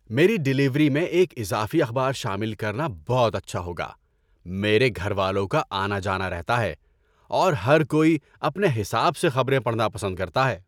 میری ڈیلیوری میں ایک اضافی اخبار شامل کرنا بہت اچھا ہوگا! میرے گھر والوں کا آنا جانا رہتا ہے، اور ہر کوئی اپنے حساب سے خبریں پڑھنا پسند کرتا ہے۔